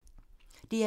DR2